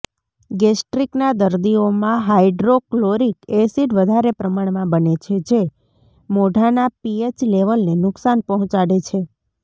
ગેસ્ટ્રીકના દરદીઓમાં hydrochloric acid વધારે પ્રમાણમાં બને છે જે મોઢાના પીએચ લેવલને નુકસાન પહોંચાડે છે